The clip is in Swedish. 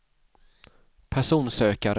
personsökare